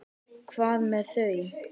Hvað með þau?